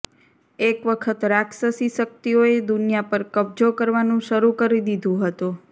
એક વખત રાક્ષસી શક્તિઓએ દુનિયા પર કબ્જો કરવાનું શરૂ કરી દીધું હતું